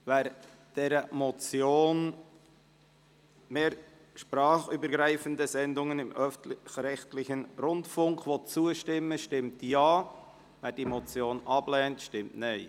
Wer der Motion «Mehr sprachübergreifende Sendungen im öffentlich-rechtlichen Rundfunk» zustimmt, stimmt Ja, wer diese Motion ablehnt, stimmt Nein.